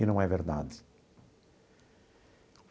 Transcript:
E não é verdade.